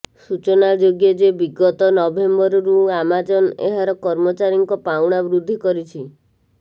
ସୂଚନାଯୋଗ୍ୟ ଯେ ବିଗତ ନଭେମ୍ବରରୁ ଆମାଜନ୍ ଏହାର କର୍ମଚାରୀଙ୍କ ପାଉଣା ବୃଦ୍ଧି କରିଛି